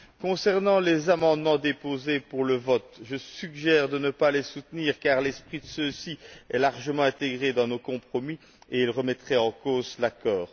Concernant les amendements déposés pour le vote, je suggère de ne pas les soutenir car l'esprit de ceux ci est largement intégré dans nos compromis et ils remettraient en cause l'accord.